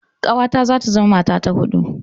Ƙawata za ta zama mata ta huɗu.